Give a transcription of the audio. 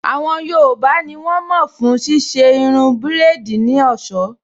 Àwọn yoòbá ní wọ́n mọ̀ fún ṣíṣe irun búrèdì ní ọ̀sọ́